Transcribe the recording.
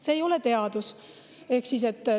See ei ole teadus!